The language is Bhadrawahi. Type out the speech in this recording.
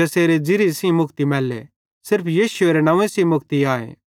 ज़ेसेरे ज़िरिये सेइं मुक्ति मैल्ले सिर्फ यीशुएरे नंव्वे सेइं मुक्ति आए